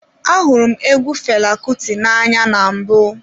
Ahụrụ m egwu Fela Kuti n'anya na mbụ.